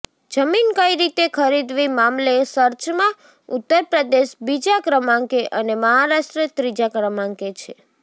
જમીન કઇ રીતે ખરીદવી મામલે સર્ચમાં ઉત્તરપ્રદેશ બીજા ક્રમાંકે અને મહારાષ્ટ્ર ત્રીજા ક્રમાંકે છે